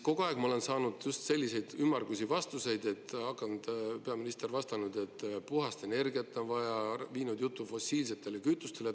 Kogu aeg ma olen saanud selliseid ümmargusi vastuseid, peaminister on vastanud, et puhast energiat on vaja, ja viinud jutu fossiilsetele kütustele.